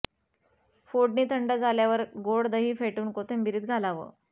फोडणी थंड झाल्यावर गोड दही फेटून कोशिंबिरीत घालावं